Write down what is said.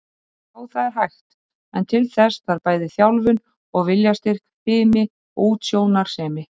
Já, það er hægt, en til þess þarf bæði þjálfun og viljastyrk, fimi og útsjónarsemi.